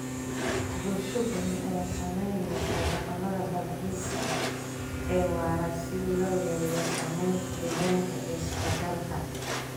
Bulsho badan ayaa sahaminaysa dhaqamada dalxiiska ee waara si loo yareeyo saamaynta deegaanka ee socdaalka.